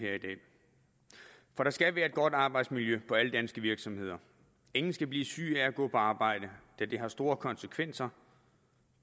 her i dag for der skal være et godt arbejdsmiljø på alle danske virksomheder ingen skal blive syge af at gå på arbejde da det har store konsekvenser